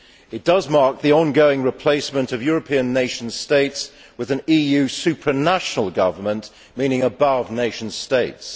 It marks the ongoing replacement of European nation states with an EU supranational government, meaning above nation states.